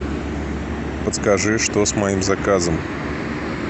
подскажи что с моим заказом